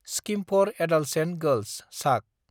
scheme for adolescent girls (सग)